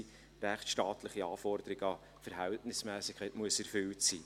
die rechtsstaatlichen Anforderungen an die Verhältnismässigkeit müssen erfüllt sein.